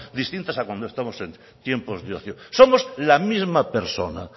distintas a cuando estamos en tiempo de ocio somos la misma persona